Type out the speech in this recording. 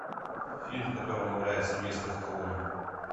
фильм в котором играет сильвестр сталлоне